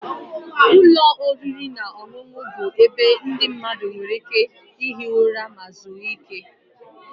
Ụlọ oriri na ọṅụṅụ bụ ebe ndị mmadụ nwere ike ihi ụra ma zuru ike